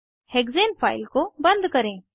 hexane file को बंद करें